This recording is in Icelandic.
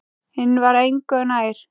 Hinn var engu nær.